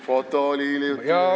Foto oli sellest hiljuti veel, jaa.